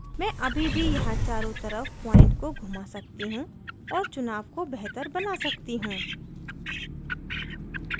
मैं अभी भी यहाँ चारो तरफ point को घुमा सकती हूँ और चुनाव को बेहतर बना सकती हूँ